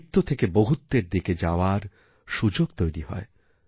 আমিত্বথেকে বহুত্বের দিকে যাওয়ার সুযোগ তৈরি হয়